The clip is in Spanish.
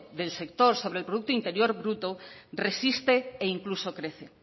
del sector sobre el productor interior bruto resiste e incluso crece